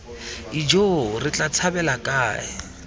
ijoo re tla tshabela kae